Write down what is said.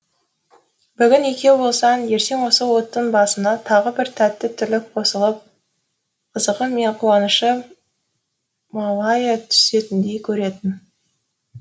бүгін екеу болсаң ертең осы оттың басына тағы бір тәтті тірлік қосылып қызығы мен қуанышы молая түсетіндей көретін